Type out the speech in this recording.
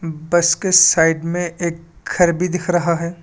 बस के साइड में एक घर भी दिख रहा है।